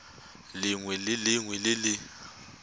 lengwe le lengwe le le